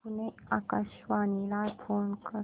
पुणे आकाशवाणीला फोन कर